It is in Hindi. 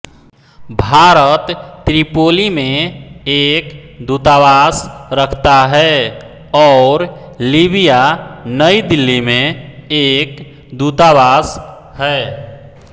भारत त्रिपोली में एक दूतावास रखता है और लीबिया नई दिल्ली में एक दूतावास है